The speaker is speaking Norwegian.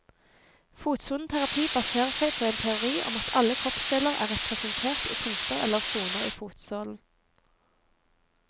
Fotsoneterapi baserer seg på en teori om at alle kroppsdeler er representert i punkter eller soner i fotsålen.